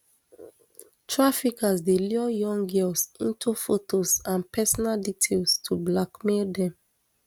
traffickers dey lure young girls into fotos and personal details to blackmail dem